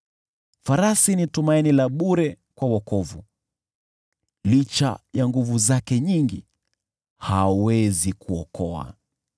Farasi ni tumaini la bure kwa wokovu, licha ya nguvu zake nyingi, hawezi kuokoa.